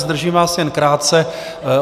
Zdržím vás jen krátce.